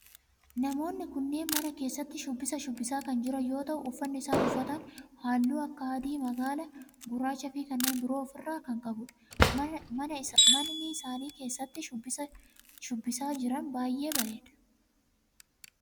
Namoonni kunneen mana keessatti shubbisa shubbisaa kan jiran yoo ta'u uffanni isaan uffatan halluu akka adii, magaala, gurraachaa fi kanneen biroo of irraa kan qabudha. Manni isaan keessatti shubbisaa jiran baayyee bareeda.